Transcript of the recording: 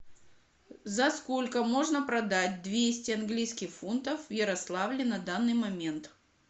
за сколько можно продать двести английских фунтов в ярославле на данный момент